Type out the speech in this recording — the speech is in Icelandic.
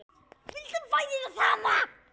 Vildum bæði það sama.